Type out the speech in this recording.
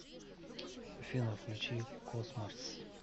афина включи космарс